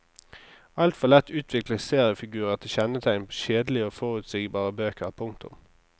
Alt for lett utvikles seriefigurer til kjennetegn på kjedelige og forutsigbare bøker. punktum